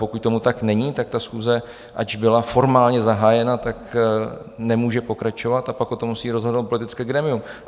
Pokud tomu tak není, tak ta schůze, ač byla formálně zahájena, tak nemůže pokračovat, a pak o tom musí rozhodnout politické grémium.